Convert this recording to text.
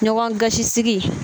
Ɲɔgɔn gasisigi.